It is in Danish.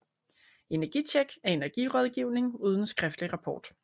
EnergiTjek er energirådgivning uden skriftlig rapport